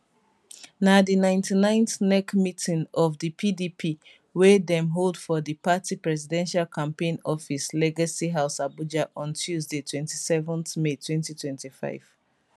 na di 99th nec meeting of di pdp wey dem hold for di party presidential campaign office legacy house abuja on tuesday 27 may 2025